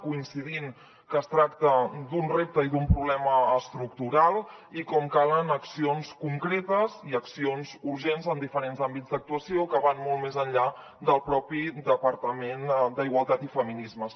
coincidim que es tracta d’un repte i d’un problema estructural i com calen accions concretes i accions urgents en diferents àmbits d’actuació que van molt més enllà del propi departament d’igualtat i feminismes